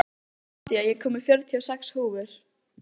Nadia, ég kom með fjörutíu og sex húfur!